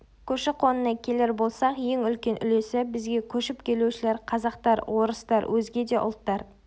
көші-қонына келер болсақ ең үлкен үлесі бізге көшіп келушілер-қазақтар орыстар өзге де ұлттар